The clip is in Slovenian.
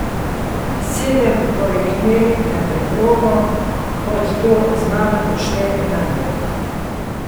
Sedem poleg nje, na preprogo, kot to z mano počne Nando.